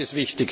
Auch das ist